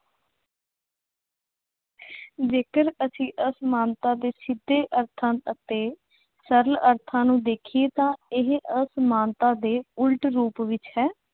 ਜੇਕਰ ਅਸੀਂ ਅਸਮਾਨਤਾ ਦੇ ਸਿੱਧੇ ਅਰਥਾਂ ਅਤੇ ਸਰਲ ਅਰਥਾਂ ਨੂੰ ਦੇਖੀਏ ਤਾਂ ਇਹ ਅਸਮਾਨਤਾ ਦੇ ਉਲਟ ਰੂਪ ਵਿੱਚ ਹੈ।